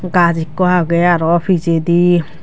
gaj ekko aage aro pijedi.